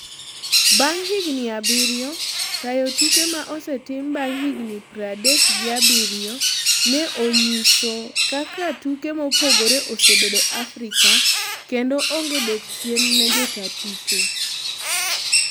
bang higni abiriyo, tayo tuke ma osetim bang higni pradekgi abiryo ne onyiso kaka tuke mopogore Osebedo Afrika kendo onge dok chien ne jotaa tuke